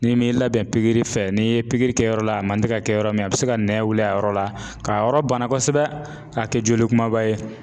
N'i m'i labɛn pikiri fɛ, n'i ye pikiri kɛ yɔrɔ la a man tɛ ka kɛ yɔrɔ min a bɛ se ka nɛn wili a yɔrɔ la, k'a yɔrɔ bana kosɛbɛ k'a kɛ joli kumaba ye.